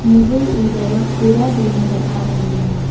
मुझे इधर खीरा भी नजर आ रही है।